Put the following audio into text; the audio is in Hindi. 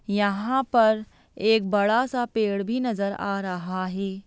यहाँ पर एक बड़ा सा पेड़ भी नजर आ रहा है।